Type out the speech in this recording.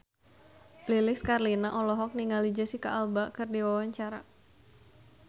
Lilis Karlina olohok ningali Jesicca Alba keur diwawancara